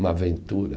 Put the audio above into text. Uma aventura.